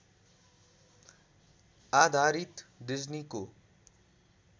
आधारित डिज्नीको